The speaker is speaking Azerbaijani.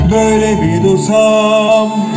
Böylə bir dostsan.